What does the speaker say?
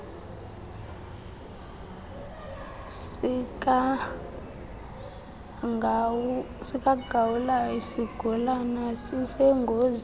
sikagawulayo isigulana sisengozini